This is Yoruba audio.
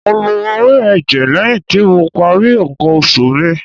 Mo lo ewé ẹ̀jẹ̀ lẹ́yìn tí mo parí ǹkan oṣù mi.